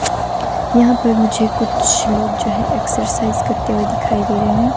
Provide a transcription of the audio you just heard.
यहां पर मुझे कुछ लोग जो है एक्सरसाइज करते हुए दिखाई दे रहे हैं।